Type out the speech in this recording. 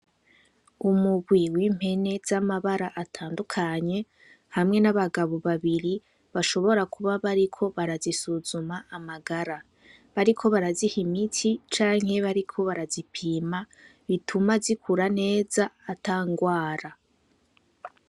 Umugwi w'impene z'amabara atandukanye , hamwe n'abagabo babiri, bashobora kuba bariko barazisuzuma amagara . Bariko baraziha imiti canke bariko barazipima, bituma zikura neza , atangwara.